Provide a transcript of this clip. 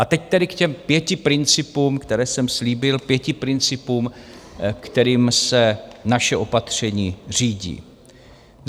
A teď tedy k těm pěti principům, které jsem slíbil, pěti principům, kterým se naše opatření řídí.